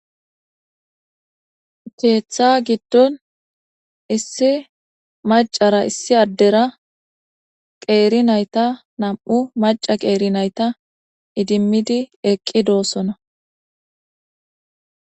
Keeththa giddon issi macara issi addera qeeri nayta nam'u maca qeeri nayta idimmidi eqqi doossona.